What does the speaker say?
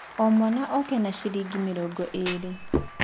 O mwana oke na ciringi mĩrongo ĩĩrĩ.